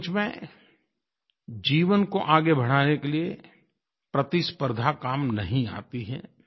सचमुच में जीवन को आगे बढ़ाने के लिए प्रतिस्पर्द्धा काम नहीं आती है